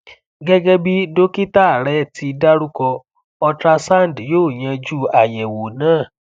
gegebi dokita re ti daruko ultrasound yo yanju ayewo na